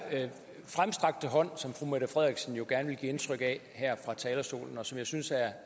fremstrakte hånd som fru mette frederiksen jo gerne vil give indtryk af at komme her fra talerstolen og som jeg synes